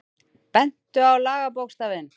Bentu á lagabókstafinn